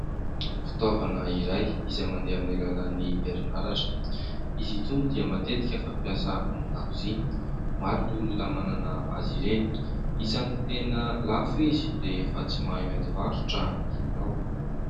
Fitaovana iray izay mandeha amin'ny alalan'ny herinaratra. Izy itony dia matetika fampiasa ao an-dakozia. Maro ny olona manana azy ireny, isan'ny tena lafo izy rehefa tsy mahay miady varotra ianao.